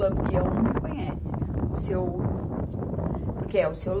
Lampião não me conhece, o Seu, porque é o Seu